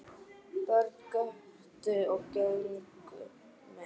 Börn göptu og gengu með.